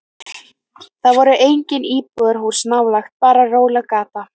Það voru engin íbúðarhús nálægt, bara róleg gata.